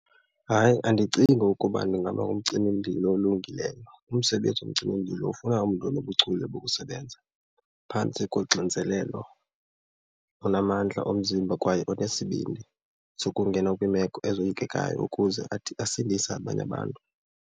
Hayi, andicingi ukuba ndingaba ngumcimimlilo olungileyo. Umsebenzi womcimimlilo ufuna umntu onobuchule bokusebenza phantsi koxinzelelo, onamandla omzimba kwaye okwesibidni sokungena kwiimeko ezoyikekayo ukuze athi asindise abanye abantu.